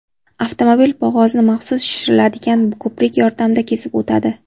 Avtomobil bo‘g‘ozni maxsus shishiriladigan ko‘prik yordamida kesib o‘tadi.